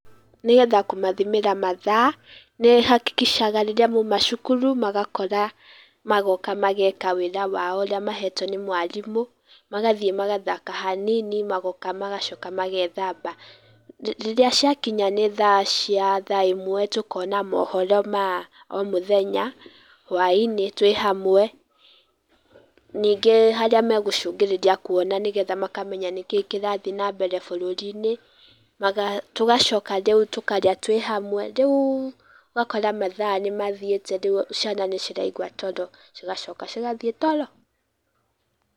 Nĩgetha kũmathimĩra mathaa nĩ hakikishaga rĩrĩa mauma cukuru magakora magoka mageka wĩra wao ũrĩa mahetwo nĩ mwarimũ, magathiĩ magathaka hanini magoka magacoka magethamba. Rĩrĩa ciakinya nĩ thaa cia thaa ĩmwe tũkona mohoro ma omũthenya hwai-inĩ twĩ hamwe. Ningĩ harĩa megũcũngĩrĩria kuona nĩgetha makamenya nĩkĩĩ kĩrathiĩ nambere bũrũri-inĩ. Tũgacoka rĩu tũkarĩa twĩ hamwe, rĩu ũgakora mathaa nĩ mathiĩte rĩu cina nĩ ciraigua toro cigacoka cigathiĩ toro.